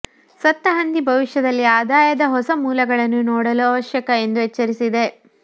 ಸತ್ತ ಹಂದಿ ಭವಿಷ್ಯದಲ್ಲಿ ಆದಾಯದ ಹೊಸ ಮೂಲಗಳನ್ನು ನೋಡಲು ಅವಶ್ಯಕ ಎಂದು ಎಚ್ಚರಿಸಿದೆ